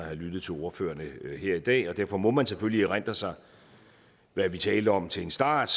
har lyttet til ordførerne her i dag og derfor må man selvfølgelig erindre sig hvad vi talte om til en start